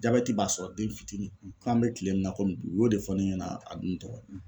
Jabɛti b'a sɔrɔ den fitini k'an bɛ kile min na komi bi u y'o de fɔ ne ɲɛna a don tɔgrɔ